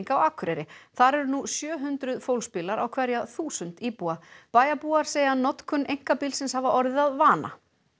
á Akureyri þar eru nú sjö hundruð fólksbílar á hverja þúsund íbúa bæjarbúar segja notkun einkabílsins hafa orðið að vana